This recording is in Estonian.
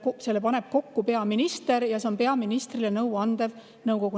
Selle paneb kokku peaminister ja see on peaministrile nõu andev kogu.